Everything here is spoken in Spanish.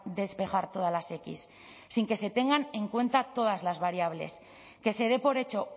despejar todas las equis sin que se tengan en cuenta todas las variables que se dé por hecho